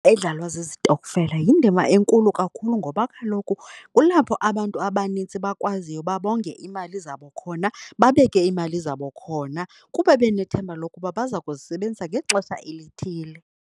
Edlalwa zezitokfela yindima enkulu kakhulu ngoba kaloku kulapho abantu abanintsi bakwaziyo uba bonge iimali zabo khona, babeke iimali zabo khona kuba benethemba lokuba baza kuzisebenzisa ngexesha elithile.